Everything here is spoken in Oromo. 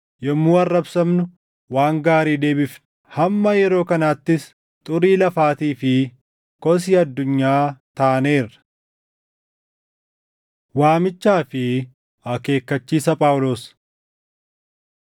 Yommuu arrabsamnu, waan gaarii deebifna; hamma yeroo kanaattis xurii lafaatii fi kosii addunyaa taaneerra. Waamichaa fi Akeekkachiisa Phaawulos